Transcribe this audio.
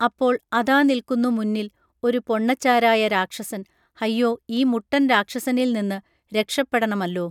അപ്പോൾ അതാ നിൽക്കുന്നു മുന്നിൽ ഒരു പൊണ്ണച്ചാരായ രാക്ഷസൻ ഹയ്യോ ഈ മുട്ടൻ രാക്ഷസനിൽനിന്ന് രക്ഷപ്പെടണമല്ലോ